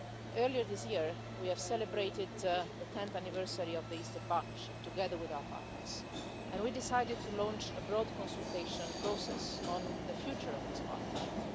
Earlier this year we celebrated the 10th anniversary of the Eastern Partnership together with our partners, and we decided to launch a broad consultation process on the future of this Partnership.